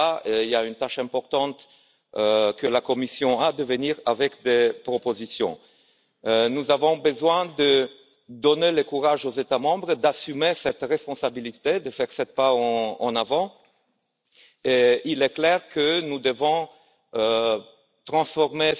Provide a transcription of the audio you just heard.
Et là, il y a une tâche importante qui incombe à la Commission, c'est de venir avec des propositions. Nous avons besoin de donner le courage aux États membres d'assumer cette responsabilité, de faire ce pas en avant, et il est clair que nous devons transformer